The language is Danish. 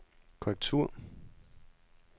korrektur